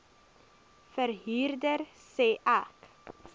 verhuurder sê ek